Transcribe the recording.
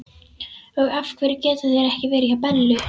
Og af hverju geta þeir ekki verið hjá Bellu?